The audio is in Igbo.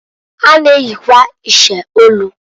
Ha na-eyikwa iche olu.